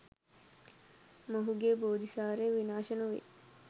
ඔහුගේ බෝධිසාරය විනාශ නොවේ.